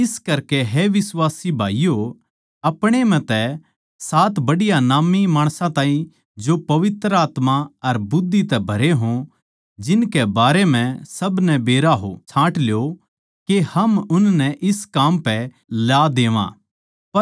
इस करकै हे बिश्वासी भाईयो अपणे म्ह तै सात बढ़िया नाम्मी माणसां ताहीं जो पवित्र आत्मा अर बुद्धि तै भरे हो जिनके बारें म्ह सब नै बेरा हो छाँट ल्यो के हम उननै इस काम पै ला देवां